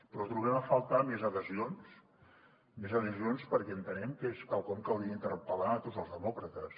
però trobem a faltar més adhesions més adhesions perquè entenem que és quelcom que hauria d’interpel·lar a tots els demòcrates